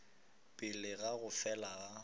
pele ga go fela ga